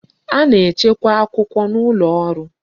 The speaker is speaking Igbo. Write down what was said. A na-echekwa akwụkwọ n'ụlọ ọrụ